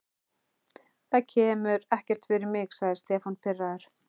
Það kemur ekkert fyrir mig sagði Stefán pirraður.